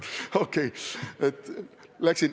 Okei.